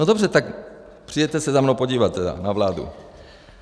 No dobře, tak přijeďte se za mnou podívat tedy na vládu.